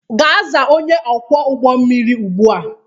Gaa zaa onye ọkwọ ụgbọ mmiri ugbu a!